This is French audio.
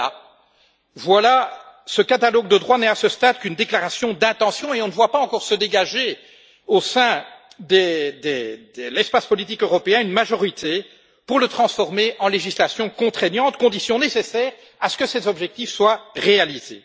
Mais voilà, ce catalogue de droits n'est à ce stade qu'une déclaration d'intention, et on ne voit pas encore se dégager, au sein de l'espace politique européen, une majorité pour le transformer en législation contraignante, condition nécessaire à ce que ces objectifs soient réalisés.